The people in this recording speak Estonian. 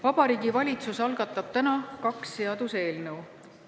Vabariigi Valitsus algatab täna kaks seaduseelnõu.